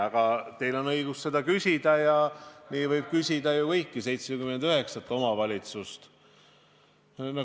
Aga teil on muidugi õigus küsida ja nii võib küsida kõigi 79 omavalitsusüksuse kohta.